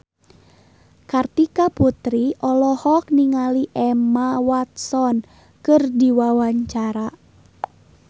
Kartika Putri olohok ningali Emma Watson keur diwawancara